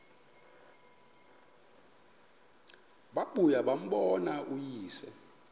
babuye bambone uyise